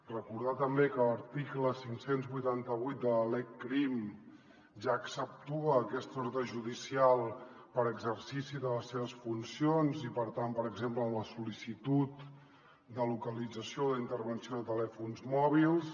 recordar també que l’article cinc cents i vuitanta vuit de la lecrim ja exceptua aquesta ordre judicial per exercici de les seves funcions i per tant per exemple en la sol·licitud de localització o d’intervenció de telèfons mòbils